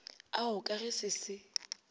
ao ka ge se se